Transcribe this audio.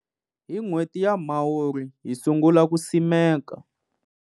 Hi n'hweti ya Mhawuri, hi sungula ku simeka.